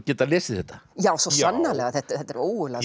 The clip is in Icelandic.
geta lesið þetta já svo sannarlega þetta er ógurlega